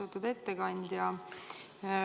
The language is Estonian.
Austatud ettekandja!